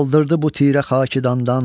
Qaldırdı bu tirə xakidandan.